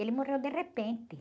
Ele morreu de repente.